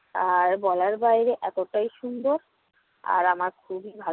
আর বলার বাইরে এতোটাই সুন্দর আর আমার খুবই ভালো